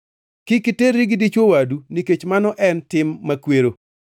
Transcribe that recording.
“ ‘Kik iterri gi dichwo wadu nikech mano en tim makwero.